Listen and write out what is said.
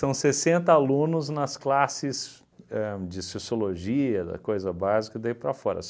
São sessenta alunos nas classes de ahn sociologia, da coisa básica, e daí para fora.